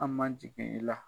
An man jigin i la.